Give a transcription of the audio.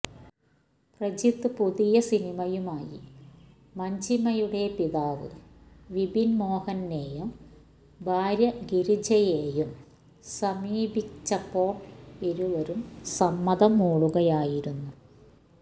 പ്രജിത് പുതിയ സിനിമയുമായി മഞ്ജിമയുടെ പിതാവ് വിപിന് മോഹനെയും ഭാര്യ ഗിരിജയെയും സമീപിച്ചപ്പോള് ഇരുവരും സമ്മതം മൂളുകയായിരുന്നു